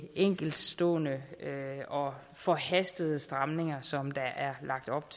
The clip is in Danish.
enkeltstående og forhastede stramninger som der er lagt op